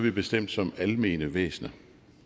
er bestemt som almene væsener